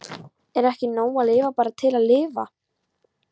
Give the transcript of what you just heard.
Er ekki nóg að lifa bara til að lifa?